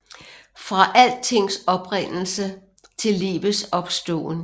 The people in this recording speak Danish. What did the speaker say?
Fra altings oprindelse til livets opståen